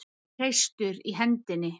Hreistur í hendinni.